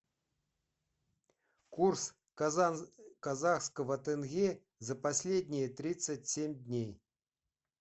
курс казахского тенге за последние тридцать семь дней